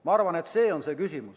Ma arvan, et selles on küsimus.